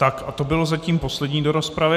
Tak a to bylo zatím poslední do rozpravy.